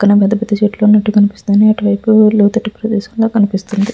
పెద్ద పెద్ద చెట్లు ఉన్నట్టు కనిపిస్తుంది. అది లోతైన ప్రాంతం ఉన్నట్టు కనిపిస్తుంది.